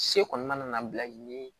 Se kɔni mana na bila ni